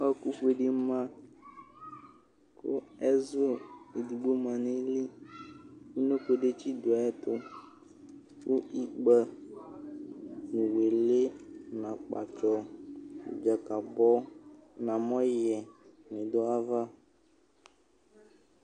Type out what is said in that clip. ɔɔku bedi ma ku ɛzu edigbo ma nʋ ayili unoko detsi dʋ ayiʋ ɛtuku ikpə nu wili, nu Akpatsɔ , Dzakabɔ, nu amɔyɛ ni du ayiʋ aʋa